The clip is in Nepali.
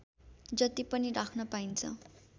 जति पनि राख्न पाइन्छ